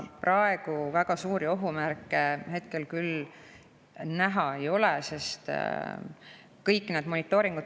Aga väga suuri ohumärke hetkel küll näha ei ole.